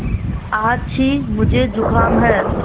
आछि मुझे ज़ुकाम है